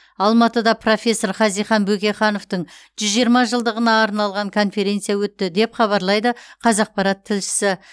алматыда профессор хазихан бөкейхановтың жүз жиырма жылдығына арналған конференция өтті деп хабарлайды қазақпарат тілшісі